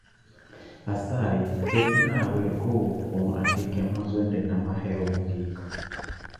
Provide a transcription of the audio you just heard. Asayi ketna wer kowuok kuom andike mag wendena mahero mogik